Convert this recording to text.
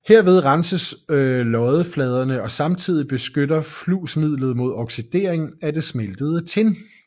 Herved renses loddefladerne og samtidig beskytter flusmidlet mod oxidering af det smeltede tin